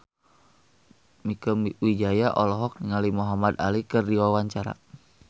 Mieke Wijaya olohok ningali Muhamad Ali keur diwawancara